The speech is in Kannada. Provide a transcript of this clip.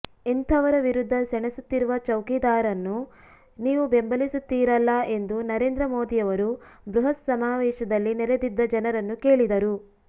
ಇಂಥವರ ವಿರುದ್ಧ ಸೆಣಸುತ್ತಿರುವ ಚೌಕಿದಾರನ್ನು ನೀವು ಬೆಂಬಲಿಸುತ್ತೀರಲ್ಲ ಎಂದು ನರೇಂದ್ರ ಮೋದಿಯವರು ಬೃಹತ್ ಸಮಾವೇಶದಲ್ಲಿ ನೆರೆದಿದ್ದ ಜನರನ್ನು ಕೇಳಿದರು